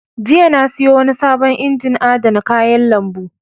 Jiya na sayo wani sabon injin adana kayan lambu.